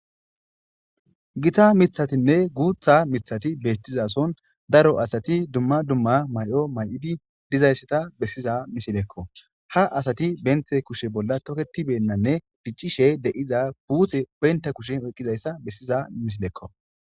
Gita mithatinne guutha mithati beettizason daro asati dumma dumma may7o may7idi dizaysseta bessiza misilekko ha asati benthe kushe bolla toketibennanne diccishe de7iza puutxe oynta kushe oyqqizayssa bessiza misilekko